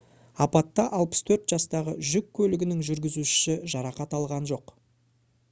апатта 64 жастағы жүк көлігінің жүргізушісі жарақат алған жоқ